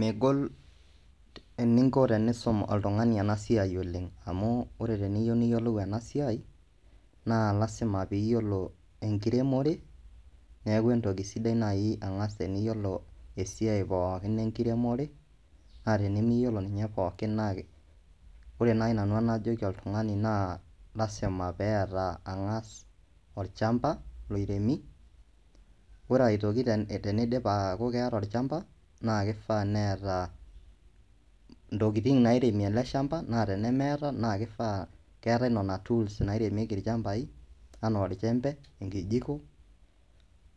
Megol eninko tenisum oltungani ena siaai oleng, amuu ore teniyeu niyiolou ena siaai, naa lasima piiyiolo enkiremore, naaku entoki sidai engas naii teniyiolo esiai pookin enkiremore, naa tenimiyiolo naa pookin naake, ore naii enanu najoki oltungani naa lasima peata angas olchamba oremi, ore aitoki teneidip aaku keeta olchamba naa keifaa neata ntokitin naareemie ale chamba naa tenechomo naa keifaa, keatae nena tools naaremieki olchambai anaa olchembe, enkijiko,